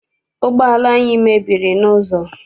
Ụgbọala anyị mebiri n'ụzọ.